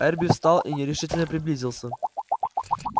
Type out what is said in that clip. эрби встал и нерешительно приблизился